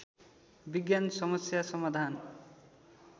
विज्ञान समस्या समाधान